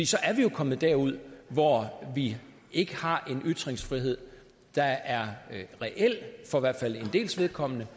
så er vi jo kommet derud hvor vi ikke har en ytringsfrihed der er reel for i hvert fald en dels vedkommende